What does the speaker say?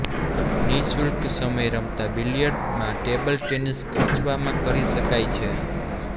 નિઃશુલ્ક સમય રમતા બિલિયર્ડ માં ટેબલ ટેનિસ ખર્ચવામાં કરી શકાય છે